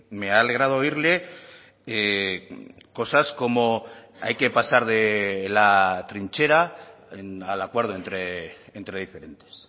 me ha alegrado oírle cosas como hay que pasar de la trinchera al acuerdo entre diferentes